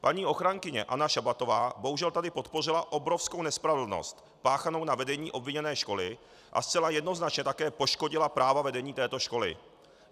Paní ochránkyně Anna Šabatová bohužel tady podpořila obrovskou nespravedlnost páchanou na vedení obviněné školy a zcela jednoznačně také poškodila práva vedení této školy.